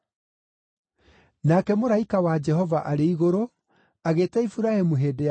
Nake mũraika wa Jehova arĩ igũrũ, agĩĩta Iburahĩmu hĩndĩ ya keerĩ,